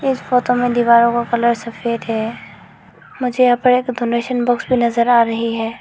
इस फोटो में दीवारों का कलर सफेद है मुझे यहां पर एक डोनेशन बॉक्स भी नजर आ रही है।